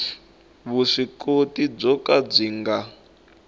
vuswikoti byo ka byi nga